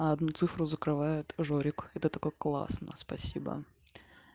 а одну цифру закрывает жорик и ты такой классный спасибо